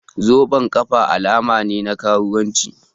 Zoben ƙafa alama ne na karuwanci